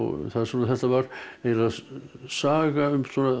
þetta var eiginlega saga um